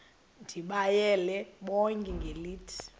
ndibayale bonke ngelithi